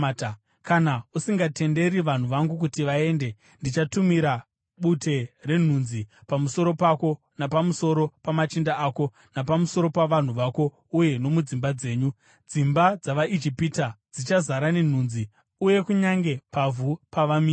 Kana usingatenderi vanhu vangu kuti vaende, ndichatumira bute renhunzi pamusoro pako napamusoro pamachinda ako, napamusoro pavanhu vako uye nomudzimba dzenyu. Dzimba dzavaIjipita dzichazara nenhunzi, uye kunyange pavhu pavamire.